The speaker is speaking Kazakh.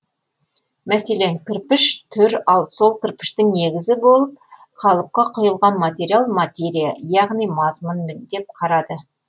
мәселен кірпіш түр ал сол кірпіштің негізі болып қалыпқа құйылған материал материя яғни мазмұн деп қарады